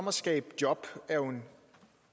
at skabe job er jo en